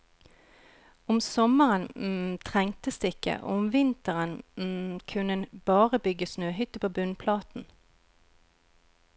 Om sommeren trengtes det ikke, og om vinteren kunne en bare bygge snøhytte på bunnplaten.